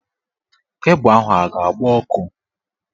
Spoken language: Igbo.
Kebụ ahụ a ga-agba ọkụ?